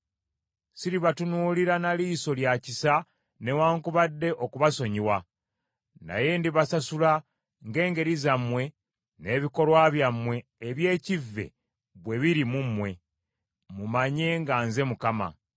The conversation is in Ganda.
Siribatunuulira na liiso lya kisa newaakubadde okubasonyiwa; naye ndibasasula ng’engeri zammwe, n’ebikolwa byammwe eby’ekkive bwe biri mu mmwe. Mulyoke mumanye nga nze Mukama .’